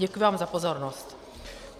Děkuji vám za pozornost.